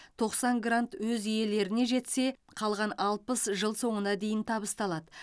тоқсан грант өз иелеріне жетсе қалған алпыс жыл соңына дейін табысталады